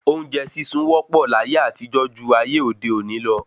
Oúnjẹ sísun wọ́ pọ̀ láyé àtijọ́ ju ayé òde òní lọ